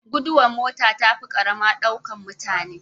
Duguwar mota tafi karama ɗaukan mutane